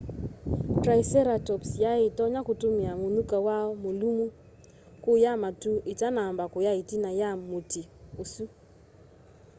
triceratops yai itonya kutumia munyuka wayo mulumu kuya matu itanamba kuya itina ya muti usu